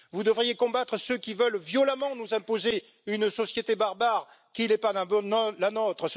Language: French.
Vous devriez combattre ceux qui veulent violemment nous imposer une société barbare qui n'est pas la nôtre.